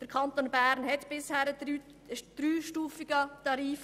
Der Kanton Bern hatte bisher einen dreistufigen Tarif.